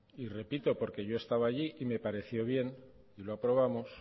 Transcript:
y repito porque yo he estado allí y me pareció bien y lo aprobamos